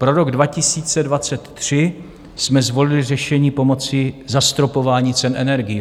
Pro rok 2023 jsme zvolili řešení pomocí zastropování cen energií.